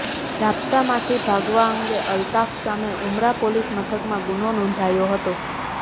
જાપ્તામાંથી ભાગવા અંગે અલ્તાફ સામે ઉમરા પોલીસ મથકમાં ગુનો નોંધાયો હતો